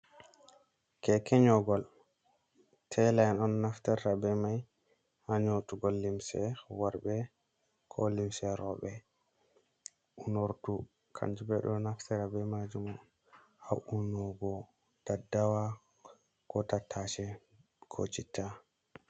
Keke nyogol taila on naftirta be mai ha nyotugo limse worbe ko limse robe. Unordu kanjum bo ɓedo naftira be majum ha unugo daddawa, ko tattase ko chitta.